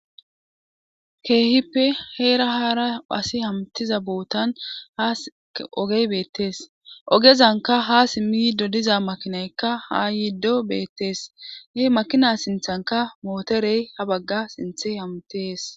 Keehippe heera haara pasi hamtiza bootan ha ogey beettees ogezanka ha simmi yido diza makinaykka ha yiiddo beettees ne makina sinthanka mooterey ha bagga sinthe hamtees